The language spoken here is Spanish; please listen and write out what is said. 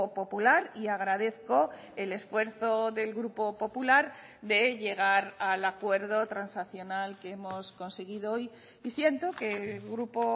popular y agradezco el esfuerzo del grupo popular de llegar al acuerdo transaccional que hemos conseguido hoy y siento que grupo